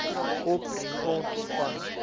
op grond van